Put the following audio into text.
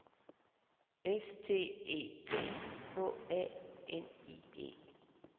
S T E P H A N I E